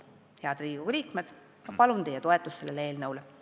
Head Riigikogu liikmed, ma palun teie toetust sellele eelnõule!